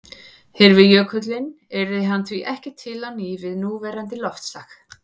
Hyrfi jökullinn yrði hann því ekki til á ný við núverandi loftslag.